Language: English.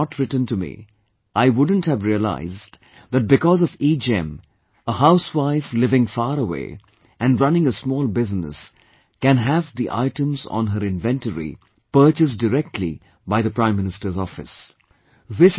Had Arulmozhi not written to me I wouldn't have realised that because of EGEM, a housewife living far away and running a small business can have the items on her inventory purchased directly by the Prime Minister's Office